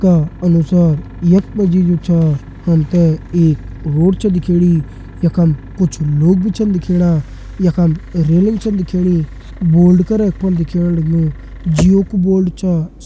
का अनुसार यख मा जी जू छ हमतें एक रोड छ दिखेणी यखम कुछ लोग भी छन दिखेणा यखम रेलिंग छन दिखेणी बोर्ड कर यख फण दिखेण लग्युं जिओ कु बोर्ड च --